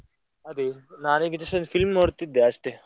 ಅದೆ, ನಾನ್ film ನೋಡ್ತಾ ಇದ್ದೆ ಅಷ್ಟೇ.